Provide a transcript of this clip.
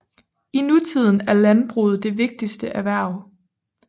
I nutiden er landbruget det vigtigste erhverv